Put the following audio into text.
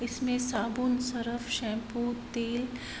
इसमें साबुन surf shampoo तेल --